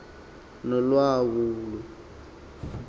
nolawulo